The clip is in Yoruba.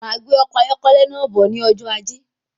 Máa gbé ọkọ ayọkẹlẹ náà bọ̀ ní ọjọ ajé